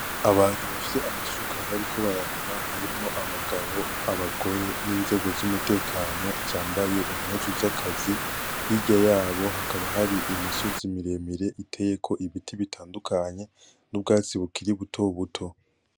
Abantu bafise amasuka bariko bararima harimwo abagabo abagore n'inzego z'umutekano zambaye impuzu zakazi, hirya yabo hakaba hari imisozi miremire iteyeko ibiti bitandukanye n'ubwatsi bukiri butobuto.